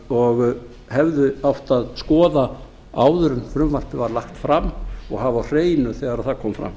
og hefði átt að skoða áður en frumvarpið var lagt fram og hafa á hreinu þegar það kom fram